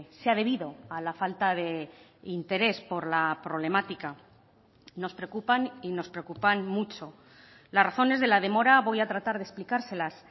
se ha debido a la falta de interés por la problemática nos preocupan y nos preocupan mucho las razones de la demora voy a tratar de explicárselas